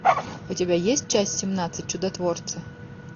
у тебя есть часть семнадцать чудотворцы